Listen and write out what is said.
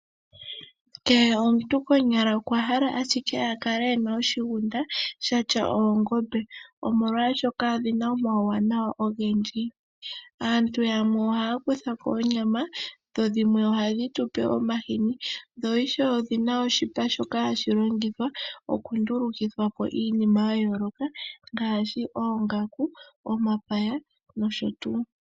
Kehe omuntu konyala okwahala ashike alale ena oshigunda shina oongombe omolwaashoka odhina omawuwanawa ogendji. Aantu yamwe ohaya kuthako onyama dho dhimwe ohadhi tupe omahini dho ishewe odhina oshipa shoka hashi longithwa oku ndulukuthwa iinima ya yooloka ngaaashi okundulukapo oongaku, omapaya nosho tuu.